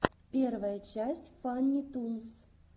первая часть фанни тунс